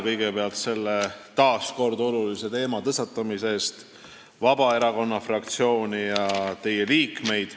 Kõigepealt ma tänan taas kord Vabaerakonna fraktsiooni, teie liikmeid olulise teema tõstatamise eest.